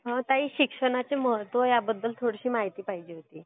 ताई, शिक्षणाचे महत्व ह्याबाद्दल थोडीशी माहिती हवी होती.